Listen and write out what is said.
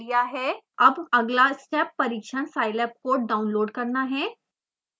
अब अगला स्टेप परिक्षण scilab कोड डाउनलोड करना है